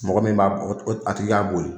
Mɔgɔ min b'a , a tigi ka bo yen.